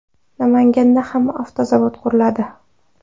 Namanganda ham avtozavod quriladi.